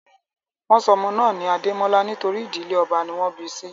Wọ́n sọ ọmọ náà ní Adémọ́lá nítorí ìdílé ọba ní wọ́n bi sí